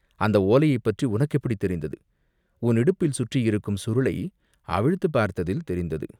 அந்த ஓலையைப் பற்றி உனக்கு எப்படி தெரிந்தது?" "உன் இடுப்பில் சுற்றியிருக்கும் சுருளை அவிழ்த்துப் பார்த்ததில் தெரிந்தது.